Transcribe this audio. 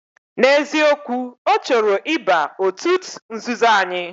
Na eziokwu, ochoro iba otut nzuzo anyi.